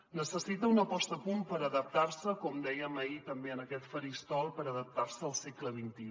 necessita una posa·da a punt per adaptar·se com dèiem ahir també en aquest faristol al segle xxi